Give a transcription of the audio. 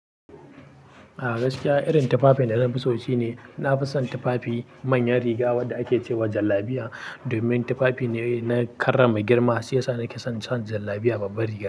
A gaskiya irin tufafin da na fi so shine, na fi son tufafi manyan riga wanda ake ce wa jallabiya. Domin tufafi ne na karrama girma, shi yasa na ke son can jallabiya babbar riga.